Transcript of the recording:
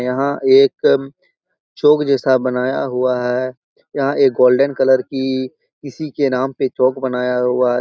यहाँ एक चौक जैसा बनाया हुआ है यहाँ एक गोल्डन कलर की इसी के नाम पे चौक बनाया हुआ --